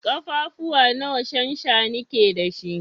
Kafafuwa nawa shanshani ke da shi?